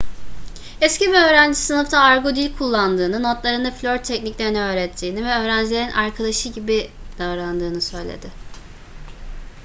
eski bir öğrencisi sınıfta argo dil kullandığını notlarında flört tekniklerini öğrettiğini ve öğrencilerin arkadaşı' gibi davrandığını söyledi